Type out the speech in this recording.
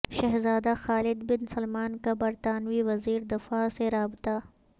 شہزادہ Khalid bin Salman کا برطانوی وزیر دفاع سے رابطہ